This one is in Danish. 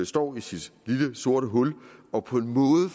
står i sit lille sorte hul og på en måde